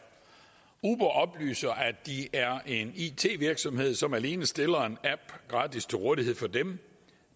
uber oplyser at de er en it virksomhed som alene stiller en app gratis til rådighed for dem